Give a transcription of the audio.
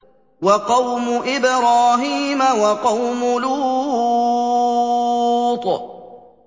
وَقَوْمُ إِبْرَاهِيمَ وَقَوْمُ لُوطٍ